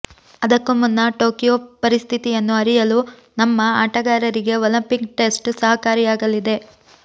ಅದಕ್ಕೂ ಮುನ್ನ ಟೋಕಿಯೊ ಪರಿಸ್ಥಿತಿಯನ್ನು ಅರಿಯಲು ನಮ್ಮ ಆಟಗಾರರಿಗೆ ಒಲಿಂಪಿಕ್ ಟೆಸ್ಟ್ ಸಹಕಾರಿಯಾಗಲಿದೆ